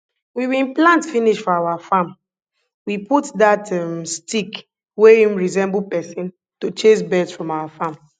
we bin plant finish for our farm we put dat um stick wey im resemble person to chase birds from our farm